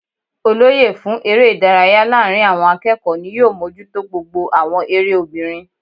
Olóyè fún eré ìdárayá láàrin àwon akéèkó ni yóò mójútó gbogbo àwon eré obìnrin